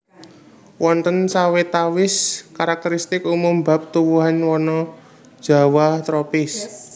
Wonten sawetawis karakteristik umum bab tuwuhan wana jawah tropis